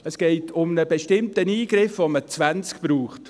Es geht um einen bestimmten Eingriff, von dem man 20 braucht.